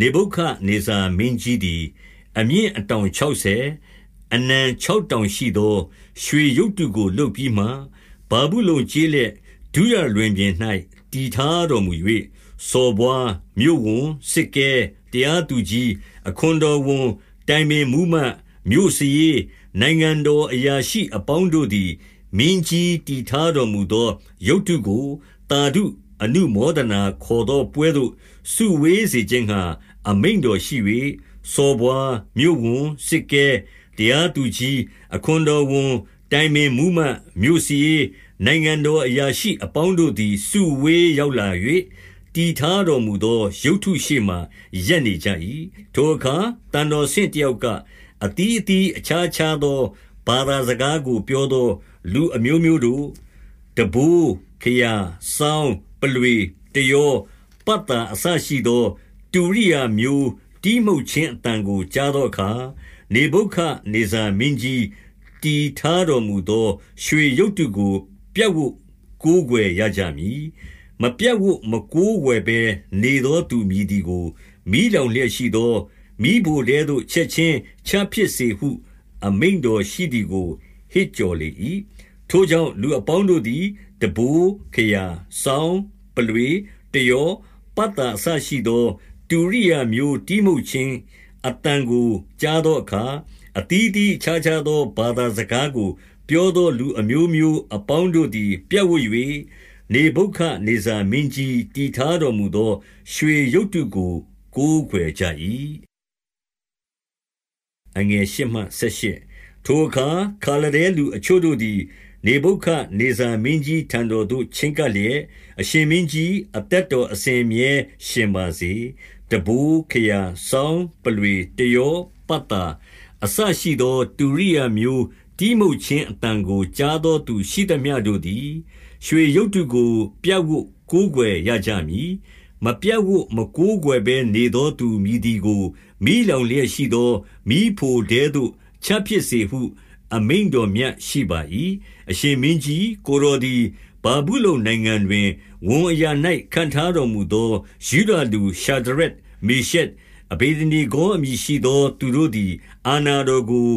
နေဗုခဒ်နေဇာမင်းကြီးသည် အမြင့် အတောင်ခြောက်ဆယ်၊ အနံခြောက်တောင် ရှိသော ရွှေရုပ်တုကို လုပ်ပြီးမှ၊ ဗာဗုလုန် ကျေးလက် ဒုရလွင်ပြင်၌ တည်ထားတော်မူ၍၊ 2 စော်ဘွား၊ မြို့ဝန်၊ စစ်ကဲ၊ တရားသူကြီး၊ အခွန်တော်ဝန်၊ တိုင်ပင်မှူးမတ်၊ မြို့စာရေး၊ နိုင်ငံတော် အရာရှိအပေါင်းတို့သည် မင်းကြီးတည်ထားတော်မူသော ရုပ်တုကို သာဓုအနုမောဒနာခေါ်သောပွဲသို့ စုဝေးစေ ခြင်းငှါ အမိန့်တော်ရှိ၍၊ 3 စော်ဘွား၊ မြို့ဝန်၊ စစ်ကဲ၊ တရားသူကြီး၊ အခွန်တော်ဝန်၊ တိုင်ပင်မှူးမတ်၊ မြို့စာရေး၊ နိုင်ငံတော် အရာရှိအပေါင်းတို့သည် စုဝေးရောက်လာ၍၊ တည်ထား တော်မူသော ရုပ်တုရှေ့မှာ ရပ်နေကြ၏။ 4 ထိုအခါ သံတော်ဆင့်တယောက်က၊ အသီးသီး အခြားခြားသော ဘာသာစကားကို ပြောသော လူအမျိုး မျိုးတို့၊ 5 တံပိုး၊ ခရာ၊ စောင်း၊ ပုလွေ၊ တယော၊ ပတ်သာ အစရှိသော တုရိယာမျိုးတီးမှုတ်ခြင်းအသံကို ကြားသော အခါ၊ နေဗုခဒ်နေဇာမင်းကြီး တည်ထားတော်မူသော ရွှေရုပ်တုကို ပြပ်ဝပ်ကိုးကွယ်ရကြမည်။ 6 မပြပ်ဝပ်မကိုးကွယ်ဘဲနေသောသူ မည်သည်ကို မီးလောင်လျက်ရှိသော မီးဖိုထဲသို့ ချက်ခြင်းချပစ်စေဟု အမိန့်တော်မြတ်ရှိသည်ဟု ဟစ်ကြော်၏။ 7 ထိုကြောင့်၊ လူအပေါင်းတို့သည် တံပိုး၊ ခရာ၊ စောင်း၊ ပုလွေ၊ တယော၊ ပတ်သာ အစရှိသော တူရိယာ မျိုး တီးမှုတ်ခြင်း အသံကို ကြားသောအခါ၊ အသီးသီး အခြားခြားသော ဘာသာစကားကိုပြောသော လူအမျိုး မျိုးအပေါင်းတို့သည် ပြပ်ဝပ်၍၊ နေဗုခဒ်နေဇာမင်းကြီး တည်ထားသော ရွှေရုပ်တုကို ကိုးကွယ်ကြ၏။ 8 ထိုအခါ၊ ခါလဒဲလူအချို့တို့သည် နေဗုခဒ်နေဇာ မင်းကြီးထံတော်သို့ ချဉ်းကပ်လျက်၊ 9 အရှင်မင်းကြီး၊ အသက်တော်အစဉ်အမြဲ ရှင်ပါ စေ။ 10 တံပိုး၊ ခရာ၊ စောင်း၊ ပုလွေ၊ တယော၊ ပတ်သာ အစရှိသော တုရိယာမျိုးတီးမှုတ်ခြင်းအသံကို ကြားသော သူရှိသမျှတို့သည် ရွှေရုပ်တုကို ပြပ်ဝပ်ကိုးကွယ် ရကြမည်။ 11 မပြပ်ဝပ်မကိုးကွယ်ဘဲ နေသောသူမည်သည်ကို မီးလောင်လျက်ရှိသော မီးဖိုထဲသို့ချပစ်စေဟု အမိန့် တော်မြတ်ရှိပါ၏။ 12 အရှင်မင်းကြီး၊ ကိုယ်တော်သည် ဗာဗုလုန်နိုင်ငံ တွင် ဝန်အရာ၌ ခန့်ထားတော်မူသော ယုဒလူ ရှာဒရက်၊ မေရှက်၊ အဗေဒနေဂေါအမည်ရှိသော သူတို့ သည် အာဏာတော်ကို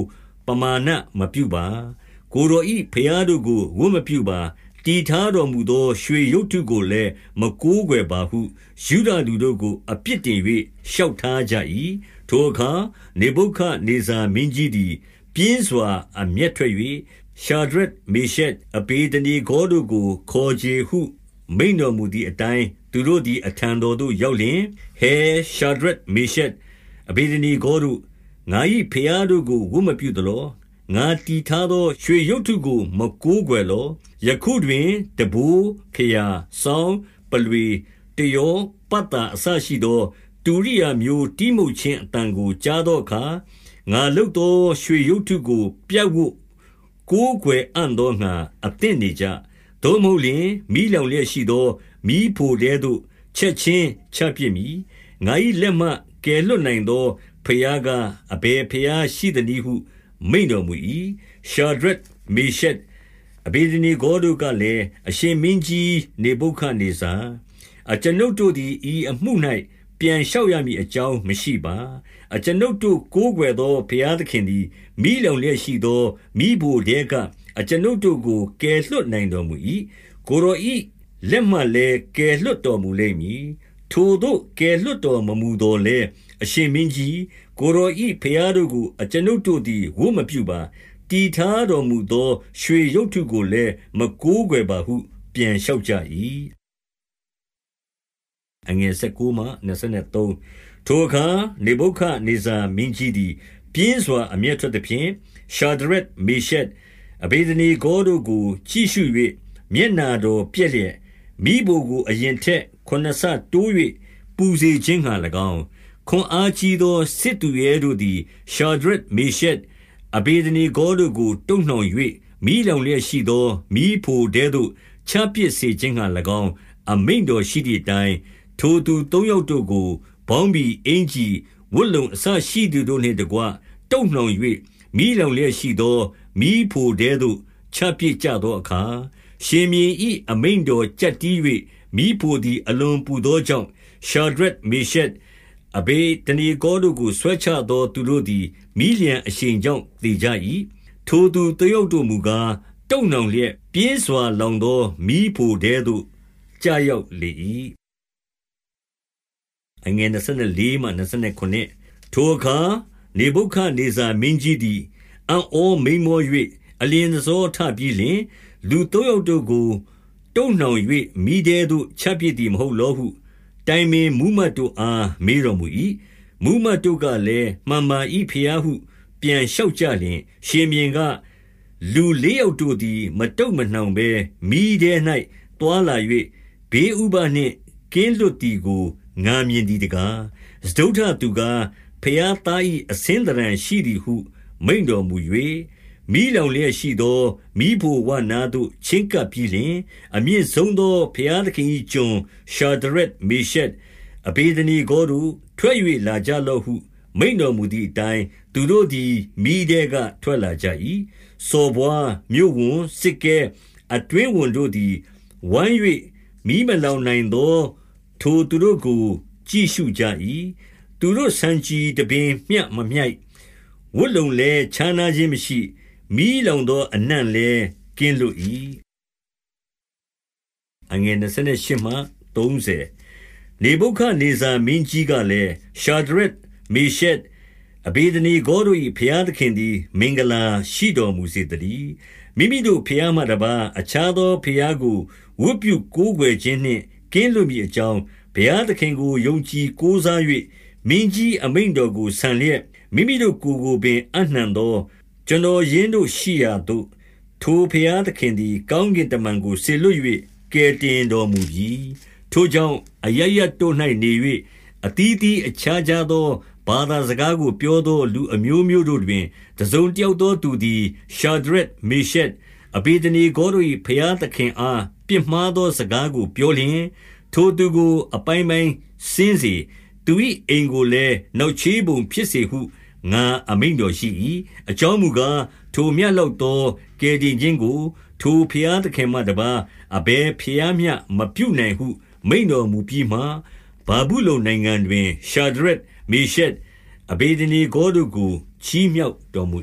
ပမာဏမပြုပါ။ ကိုယ်တော်၏ ဘုရားတို့ကို ဝတ်မပြုပါ။ တည်ထားတော်မူသော ရွှေရုပ်တုကိုလည်း မကိုးကွယ်ပါဟု၊ ယုဒလူတို့ကို အပြစ် တင်၍ လျှောက်ထားကြ၏။ 13 ထိုအခါ နေဗုခဒ်နေဇာမင်းကြီးသည် ပြင်းစွာ အမျက်ထွက်၍၊ ရှာဒရက်၊ မေရှက်၊ အဗေဒနေဂေါတို့ကို ခေါ်ချေဟုမိန့်တော်မူသည်အတိုင်း၊ သူတို့သည် အထံ တော်သို့ ရောက်လျှင်၊ 14 ဟယ်၊ ရှာဒရက်၊ မေရှက်၊ အဗေဒနေဂေါတို့၊ ငါ၏ဘုရားတို့ကို ဝတ်မပြုလော။ ငါတည်ထားသော ရွှေရုပ်တုကို မကိုးကွယ်လော။ 15 ယခုတွင် တံပိုး၊ ခရာ၊ စောင်း၊ ပုလွေ၊ တယော၊ ပတ်သာအစရှိသော တုရိယာမျိုးတီးမှုတ်ခြင်း အသံကို ကြားသောအခါ၊ ငါလုပ်သော ရွှေရုပ်တုကို ပြပ်ဝပ် ကိုးကွယ်အံ့သောငှါ အသင့်နေကြ။ သို့မဟုတ်လျှင်၊ မီးလောင်လျက်ရှိသော မီးဖိုထဲသို့ ချက်ခြင်းချပစ်မည်။ ငါ၏လက်မှ ကယ်လွှတ်နိုင်သော ဘုရားကား၊ အဘယ် ဘုရားရှိသနည်းဟု မိန့်တော်မူ၏။ 16 ရှာဒရက်၊ မေရှက်၊ အဗေဒနေဂေါတို့ကလည်း၊ အရှင်မင်းကြီး နေဗုခဒ်နေဇာ၊ အကျွန်ုပ်တို့သည် ဤအမှု၌ ပြန်လျှောက်ရမည်အကြောင်းမရှိပါ။ 17 အကျွန်ုပ်တို့ကိုးကွယ်သော ဘုရားသခင်သည်မီးလောင်လျက်ရှိသော မီးဖိုထဲကအကျွန်ုပ်တို့ကို ကယ်လွှတ် နိုင်တော်မူ၏။ ကိုယ်တော်၏ လက်မှလည်း ကယ်လွှတ်တော်မူလိမ့်မည်။ 18 ထိုသို့ကယ်လွှတ်တော်မမူသော်လည်း အရှင် မင်းကြီး၊ ကိုယ်တော်၏ဘုရားတို့ကို အကျွန်ုပ်တို့သည် ဝတ်မပြုပါ။ တည်ထားတော်မူသော ရွှေရုပ်တုကိုလည်း မကိုးကွယ်ပါဟု ပြန်လျှောက်ကြ၏။ 19 ထိုအခါ နေဗုခဒ်နေဇာမင်းကြီးသည် ပြင်းစွာ အမျက်ထွက်သဖြင့်၊ ရှာဒရက်၊ မေရှက်၊ အဗေဒနေဂေါ တို့ကို ကြည့်ရှု၍ မျက်နှာတော်ပျက်လျက်၊ မီးဖိုကို အရင်ထက် ခုနစ်ဆတိုး၍ ပူစေခြင်းငှါ၎င်း၊ 20 ခွန်အားကြီးသော စစ်သူရဲတို့သည် ရှာဒရက်၊ မေရှက်၊ အဗေဒနေဂေါတို့ကို တုပ်နှောင်၍၊ မီးလောင် လျက်ရှိသော မီးဖိုထဲသို့ ချပစ်စေခြင်းငှါ၎င်း အမိန့်တော် ရှိသည်အတိုင်း၊ 21 ထိုသူသုံးယောက်တို့ကို ပေါင်းဘီ၊ အင်္ကျီ၊ ဝတ်လုံ အစရှိသည် တို့နှင့်တကွ တုပ်နှောင်၍၊ မီးလောင်လျက် ရှိသော မီးဖိုထဲသို့ ချပစ်ကြသောအခါ၊ 22 ရှင်ဘုရင်၏ အမိန့်တော်ကျပ်တည်း၍ မီးဖို သည် အလွန်ပူသောကြောင့်၊ ရှာဒရက်၊ မေရှက်၊ အဗေဒ နေဂေါတို့ကို ဆွဲချသော သူတို့သည် မီးလျှံအရှိန်ကြောင့် သေကြ၏။ 23 ထိုသူသုံးယောက်တို့မူကား၊ တုပ်နှောင်လျက် ပြင်းစွာလောင်သော မီးဖိုထဲသို့ ကျရောက်လေ၏။ 24 ထိုအခါ နေဗုခဒ်နေဇာမင်းကြီးသည် အံ့ဩ မိန်းမော၍ အလျင်တဆောထပြီးလျှင်၊ လူသုံးယောက် တို့ကို တုပ်နှောင်၍ မီးထဲသို့ ချပစ်သည် မဟုတ်လောဟု တိုင်ပင်မှူးမတ်တို့အား မေးတော်မူ၏။ မှူးမတ်တို့က လည်း၊ မှန်ပါ၏ဘုရားဟု ပြန်လျှောက်ကြလျှင်၊ 25 ရှင်ဘုရင်က၊ လူလေးယောက်တို့သည် မတုပ် မနှောင်ဘဲ မီးထဲ၌သွားလာ၍ ဘေးဥပဒ်နှင့် ကင်းလွတ် သည်ကို ငါမြင်သည်တကား။ စတုတ္ထသူသည် ဘုရားသား ၏ အဆင်းသဏ္ဌာန်ရှိသည်ဟု မိန့်တော်မူ၍၊ 26 မီးလောင်လျက်ရှိသော မီးဖိုဝနားသို့ ချဉ်းကပ် ပြီးလျှင်၊ အမြင့်ဆုံးသော ဘုရားသခင်၏ကျွန်၊ ရှာဒရက်၊ မေရှက်၊ အဗေဒနေဂေါတို့၊ ထွက်၍လာကြလော့ဟု မိန့်တော်မူသည်အတိုင်း၊ သူတို့သည် မီးထဲက ထွက်လာ ကြ၏။ 27 စော်ဘွား၊ မြို့ဝန်၊ စစ်ကဲ၊ အတွင်းဝန်တို့သည် ဝိုင်း၍မီးမလောင်နိုင်သော ထိုသူတို့ကို ကြည့်ရှုကြ၏။ သူတို့ဆံခြည်တပင်မျှ မမြိုက်၊ ဝတ်လုံလည်း ခြားနားခြင်း မရှိ၊ မီးလောင်သောအနံ့လည်းကင်းလွတ်၏။ 28 နေဗုခဒ်နေဇာ မင်းကြီးကလည်း၊ ရှာဒရက်၊ မေရှက်၊ အဗေဒနေဂေါတို့၏ ဘုရားသခင်သည် မင်္ဂလာ ရှိတော်မူစေသတည်း။ မိမိတို့ဘုရားမှတပါး၊ အခြားသော ဘုရားကိုဝတ်ပြုကိုးကွယ်ခြင်းနှင့် ကင်းလွတ်မည်အကြောင်း၊ ဘုရားသခင်ကို ယုံကြည်ကိုးစား၍ မင်းကြီးအမိန့်တော်ကို ဆန်လျက်၊ မိမိတို့ကိုယ်ကိုပင် အပ်နှံသော ကျွန်တော်ရင်း တို့ရှိရာသို့၊ ထိုဘုရားသခင်သည် ကောင်းကင်တမန်ကို စေလွှတ်၍ ကယ်တင်တော်မူပြီ။ 29 ထိုကြောင့်၊ အရပ်ရပ်တို့၌ နေ၍အသီးသီးအခြားခြား သော ဘာသာစကားကို ပြောသော လူအမျိုးမျိုးတို့တွင် တစုံတယောက်သောသူသည်၊ ရှာဒရက်၊ မေရှက်၊ အဗေဒနေဂေါတို့၏ ဘုရားသခင်အားပြစ်မှားသော စကားကို ပြောလျှင်၊ ထိုသူကို အပိုင်းပိုင်းစဉ်းစေ။ သူ၏အိမ်ကိုလည်း နောက်ချေးပုံဖြစ်စေဟု ငါအမိန့်တော် ရှိ၏။ အကြောင်းမူကား၊ ထိုမျှလောက်သော ကယ်တင် ခြင်းကို ထိုဘုရားသခင်မှတပါး အဘယ်ဘုရားမျှ မပြုနိုင် ဟု မိန့်တော်မူပြီးမှ၊ 30 ဗာဗုလုန်နိုင်ငံတွင် ရှာဒရက်၊ မေရှက်၊ အဗေဒ နေဂေါတို့ကို ချီးမြှောက်တော်မူ